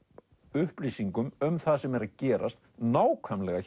upplýsingum um það sem er að gerast nákvæmlega